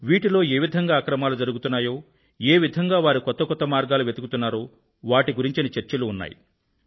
వీటిలో ఏ విధంగా అక్రమాలు జరుగుతున్నాయో ఏ విధంగా వారు కొత్త కొత్త మర్గాలు వెతుకుతున్నారో వాటి గురించిన చర్చలు ఉన్నాయి